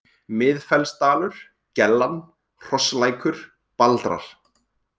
Miðfellsdalur, Gellan, Hrosslækur, Baldrar